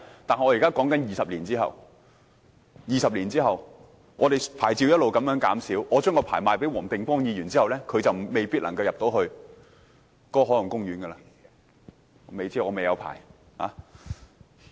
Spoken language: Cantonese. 但我說的是20年後，到時牌照一直減少，假設我將牌照賣給黃定光議員，他未必能夠進入海岸公園範圍——我不知道，因我沒有牌照。